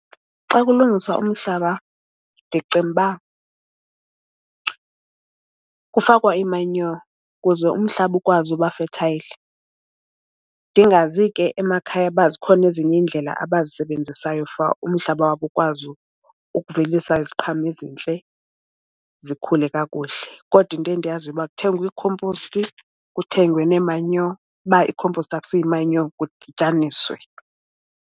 Xa kulungiswa umhlaba ndicinga uba kufakwa imanyo kuze umhlaba ukwazi uba fethayli. Ndingazi ke emakhaya uba zikhona ezinye iindlela abazisebenzisayo for umhlaba wabo ukwazi ukuvelisa iziqhamo ezintle zikhule kakuhle. Kodwa into endiyaziyo uba kuthengwa iikhomposti, kuthengwe nemanyo. Uba ikhomposti akusiyo imanyo kudityaniswe.